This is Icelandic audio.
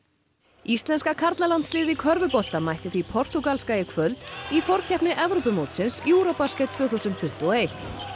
íslenska karlalandsliðið í körfubolta mætti því portúgalska í kvöld í forkeppni Evrópumótsins tvö þúsund tuttugu og eitt